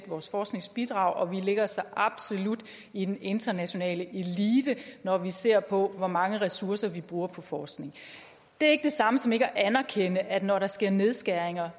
vores forskningsbidrag og vi ligger så absolut i den internationale elite når vi ser på hvor mange ressourcer vi bruger på forskning det er ikke det samme som ikke at anerkende at når der sker nedskæringer